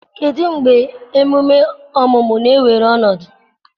kedụ mgbe emume ọmụmụ na-ewere ọnọdụ